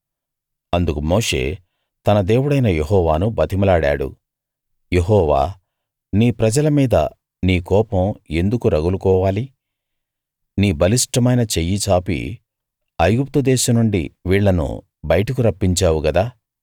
అందుకు మోషే తన దేవుడైన యెహోవాను బతిమిలాడాడు యెహోవా నీ ప్రజల మీద నీ కోపం ఎందుకు రగులుకోవాలి నీ బలిష్టమైన చెయ్యి చాపి ఐగుప్తు దేశం నుండి వీళ్ళను బయటకు రప్పించావు కదా